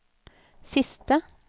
siste